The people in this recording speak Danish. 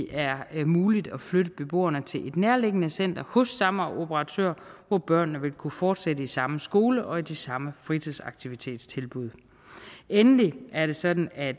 er muligt at flytte beboerne til et nærliggende center hos samme operatør hvor børnene vil kunne fortsætte i samme skole og i de samme fritidsaktivitetstilbud endelig er det sådan at